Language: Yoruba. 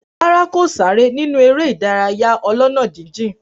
Rárá, kò sáré nínú eré ìdárayá ọlọ́nà jíjìn